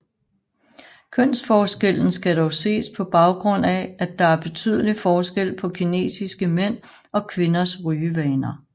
Kønsforskellen skal dog ses på baggrund af at der er betydelig forskel på kinesiske mænd og kvinders rygevaner